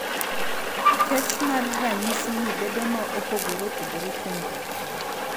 kech mar ranyisi ni bedo ma opogore opogore kuom jatuo.